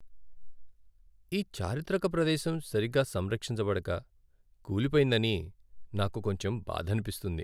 ఈ చారిత్రక ప్రదేశం సరిగా సంరక్షించబడక, కూలిపోయిందని నాకు కొంచెం బాధనిపిస్తుంది.